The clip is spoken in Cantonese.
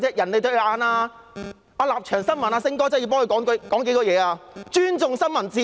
我真的要為《立場新聞》的"星哥"發聲，還說甚麼尊重新聞自由？